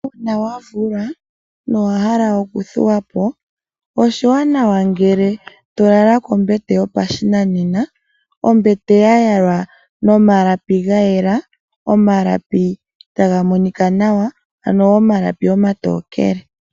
Uuna wavulwa nowahala okuthuwa po oshiwanawa ngele tolala kombete yopashinanena. Ombete ya yalwa nomalapi gayela, omalapi taga monika nawa ano omalapi omatookele.